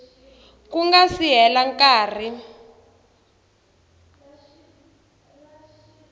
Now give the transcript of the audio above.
ku nga si hela nkarhi